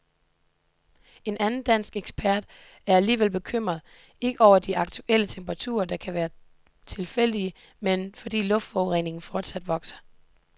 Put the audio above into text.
En anden dansk ekspert er alligevel bekymret, ikke over de aktuelle temperaturer, der kan være tilfældige, men fordi luftforureningen fortsat vokser.